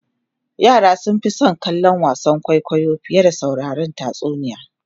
yara sun Fi San kallon wasan kwaikwayo fiye da sauraron tatsuniya